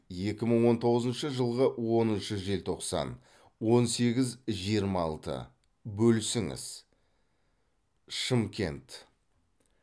екі мың он тоғызыншы жылғы оныншы желтоқсан он сегіз жиырма алты бөлісіңіз шымкент